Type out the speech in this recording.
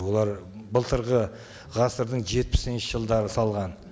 олар былтырғы ғасырдың жетпісінші жылдары салған